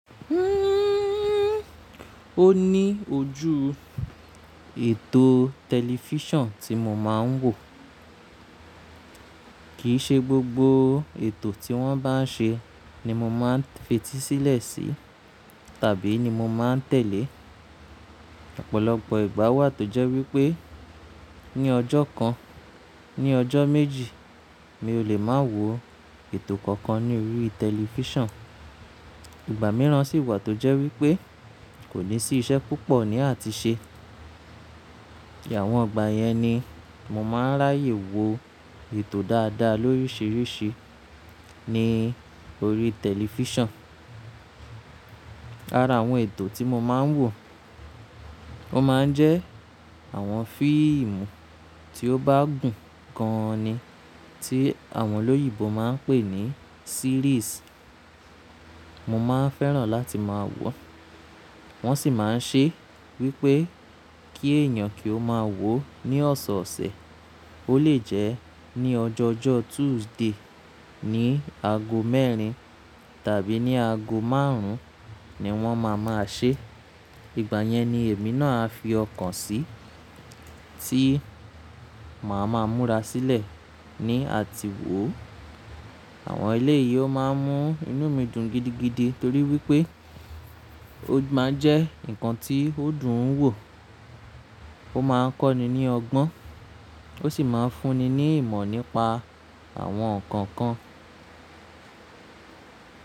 Ó ní ojú ètò tẹlifísàn tí mo máa ń wò. Kìí ṣe gbogbo ètò tí wọ́n bá ń ṣe ni mo máa ń fetísílẹ̀ sí tàbí ni mo máa ń tẹ̀lé. Ọ̀pọ̀lọpọ̀ ìgbà wà tó jẹ́ wípé ní ọjọ́ kan, ní ọjọ́ méjì mi ò lè máa wo ètò kankan ní orí tẹlifísàn. Ìgbà mìíràn sì wà tó jẹ́ wípé kò ní sí iṣẹ́ púpọ̀ ní àti ṣe. Àwọn ìgbà yẹn ni mo máa ń ráyè wo ètò dáadáa lóríṣiríṣi ní orí tẹlifísàn. Ara àwọn ètò tí mo máa ń wò, wọ́n máa ń jẹ́ àwọn fíìmù tí ó bá gùn gan an ni, tí àwọn olóyìibo máa ń pè ní series. Mo máa ń fẹ́ràn láti máa wọ́n. Wọ́n sì máa ń ṣe wípé kí èèyàn kí ó máa wò ó ní ọ̀sọ̀ọ̀sẹ̀. Ó lè jẹ́ ní ọjọọjọ́ Tuesday ní ago mẹ́rin tàbí ní ago márùn-ún ni wọ́n máa máa ṣe. Ìgbà yẹn ni èmi náà á fi ọkàn sì, tí màá ma múra sílẹ̀ ní àti wò. Àwọn eléyi ó máa ń mú inú mi dùn gidigidi torí wípé ó máa ń jẹ́ ǹkan tí ó dùn wò, ó máa ń kọ́ni ní ọgbọ́n, ó sì máa ń fúnni ní ìmọ̀ nípa àwọn nǹkan kan.